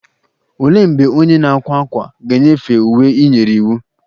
Olee mgbe onye na-akwa ákwà ga-enyefee uwe ị nyere iwu?